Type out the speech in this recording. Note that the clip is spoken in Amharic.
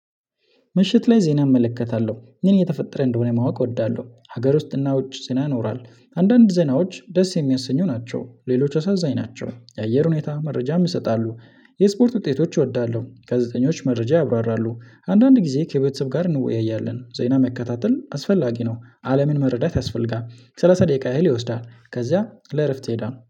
ምሸት ላይ ዜና እመለከታለሁ ምን የተፈጠረ እንደሆነ ማወቅ እወዳለሁ ሀገር ውስጥ እና ውጭ ዜና ይኖራል። አንዳንድ ዜናዎች ደስ የሚያሰኙ ናቸው ሌሎች አሳዛኝ ናቸው። የአየር ሁኔታ መረጃ ይሰጣሉ። የስፖርት ውጤቶች እወዳለሁ። ጋዜጠኞች መረጃ ያብራራሉ። አንዳንድ ጊዜ ከቤተሰብ ጋር እንወያያለን። ዜና መከታተል አስፈላጊ ነው። አለምን መረዳት ያስፈልጋል። ሰላሳ ደቂቃ ያህል ይወስዳል። ከዛ ለእረፍት ይሄዳል